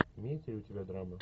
имеется ли у тебя драма